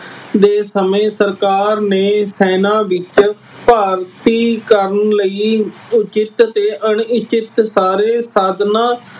ਦੇ ਸਮੇਂ ਸਰਕਾਰ ਨੇ ਸੈਨਾ ਵਿੱਚ ਭਰਤੀ ਕਰਨ ਲਈ ਉਚਿਤ ਅਤੇ ਅਣ-ਇੱਛਤ ਸਾਰੇ ਸਾਧਨਾਂ